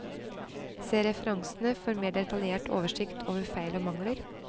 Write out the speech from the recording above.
Se referansene for mer detaljert oversikt over feil og mangler.